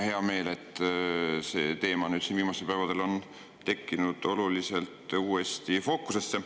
Hea meel, et see teema on viimastel päevadel tulnud uuesti fookusesse.